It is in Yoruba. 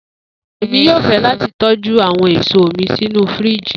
Emi yoo fẹ lati tọju awọn eso mi sinu firiji.